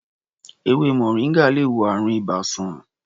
Èwe moringa lè wo àrùn ibà sàn.